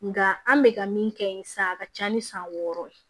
Nka an bɛ ka min kɛ yen sa a ka ca ni san wɔɔrɔ ye